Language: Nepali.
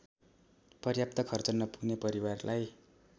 पर्याप्त खर्च नपुग्ने परिवारलाई